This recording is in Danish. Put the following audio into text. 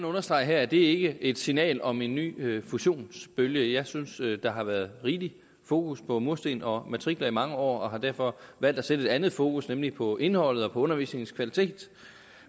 understrege at det ikke et signal om en ny fusionsbølge jeg synes at der har været rigeligt fokus på mursten og matrikler i mange år og har derfor valgt at sætte et andet fokus nemlig på indholdet og på undervisningens kvalitet